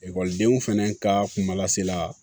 Ekɔlidenw fɛnɛ ka kunbalasela